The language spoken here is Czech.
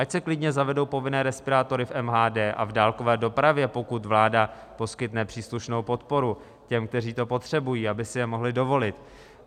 Ať se klidně zavedou povinné respirátory v MHD a v dálkové dopravě, pokud vláda poskytne příslušnou podporu těm, kteří to potřebují, aby si je mohli dovolit.